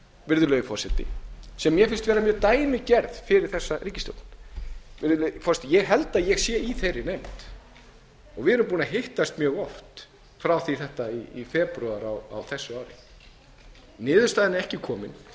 virðulegi forseti sem mér finnst vera mjög dæmigerð fyrir þessa ríkisstjórn ég held að ég sé í þeirri nefnd og við erum búin að hittast mjög oft frá því þetta í febrúar á þessu ári niðurstaðan er ekki komin en ég